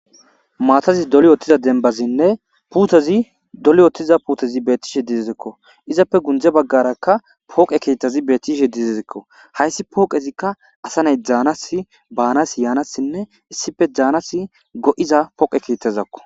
Matazi doli wotiza dembazine putezi doli wotiza putezi betishe dizaysako izape gunze bagaraka poqe kethazi betishe dizaysako haysi poqezika asa na'i Danas banas yanasine issipe danas go'za poqe kethazako.